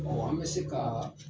an bɛ se ka